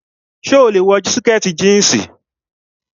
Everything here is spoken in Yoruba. So lè wọ sìkẹ̀tì jíǹsì.